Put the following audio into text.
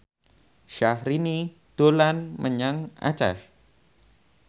Syahrini dolan menyang Aceh